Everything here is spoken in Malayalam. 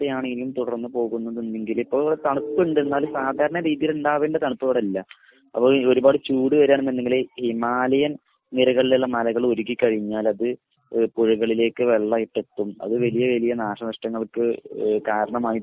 ആണ് ഇനിയും തുടർന്ന് പോകുന്നതെന്നുണ്ടെങ്കിൽ ഇപ്പോൾ തണുപ്പുണ്ട് എന്നാലും സാധാരണ രീതിയിൽ ഉണ്ടാവേണ്ട തണുപ്പ് ഇവിടെയില്ല. അപ്പോൾ ഈ ഒരുപാട് ചൂട് വരുകയാണെന്നുണ്ടെങ്കിൽ ഹിമാലയൻ നിരകളിലുള്ള മലകൾ ഉരുകിക്കഴിഞ്ഞാൽ അത് പുഴകളിലേക്ക് വെള്ളമായിട്ട് എത്തും. അത് വലിയ വലിയ നാശനഷ്ടങ്ങൾക്ക് കാരണമായി